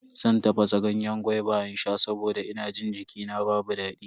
Zan tafasa ganyen gwaiba in sha saboda ina jin jikina babu daɗi.